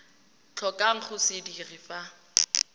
tlhokang go se dira fa